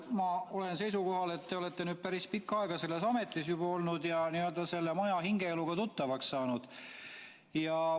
Ma olen seisukohal, et kuna te olete nüüd päris pikka aega juba selles ametis olnud, siis te olete selle maja n-ö hingeeluga tuttavaks saanud.